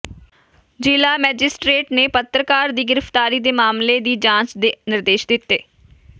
ਜ਼ਿਲ੍ਹਾ ਮੈਜਿਸਟ੍ਰੇਟ ਨੇ ਪੱਤਰਕਾਰ ਦੀ ਗ੍ਰਿਫ਼ਤਾਰੀ ਦੇ ਮਾਮਲੇ ਦੀ ਜਾਂਚ ਦੇ ਨਿਰਦੇਸ਼ ਦਿੱਤੇ